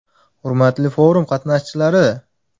Hurmatli forum qatnashchilari!